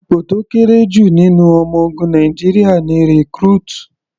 Ipò tó kéré jù nínú ọmọ ogun Nàìjíríà ni Recruit.